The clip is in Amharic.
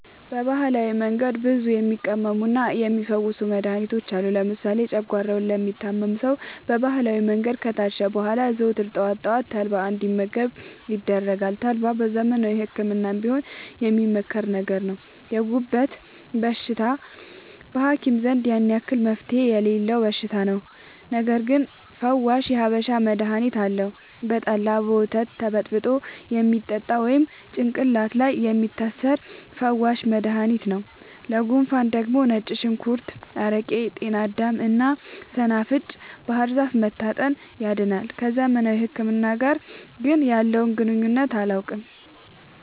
በባህላዊ መንገድ ብዙ የሚቀመሙና የሚ ፈውሱ መድሀኒቶች አሉ። ለምሳሌ ጨጓሯውን ለሚታመም ሰው በባህላዊ መንገድ ከታሸ በኋላ ዘወትር ጠዋት ጠዋት ተልባ እንዲ መገብ ይደረጋል ተልባ በዘመናዊ ህክምናም ቢሆን የሚመከር ነገር ነው። የጉበት በሽታ በሀኪም ዘንድ ያን አክል መፍትሄ የሌለው በሽታ ነው። ነገርግን ፈዋሽ የሀበሻ መድሀኒት አለው። በጠላ፣ በወተት ተበጥብጦ የሚጠጣ ወይም ጭቅላት ላይ የሚታሰር ፈዋሽ መደሀኒት ነው። ለጉንፉን ደግሞ ነጭ ሽንኩርት አረቄ ጤናዳም እና ሰናፍጭ ባህርዛፍ መታጠን ያድናል።። ከዘመናዊ ህክምና ጋር ግን ያለውን ግንኙነት አላውቅም።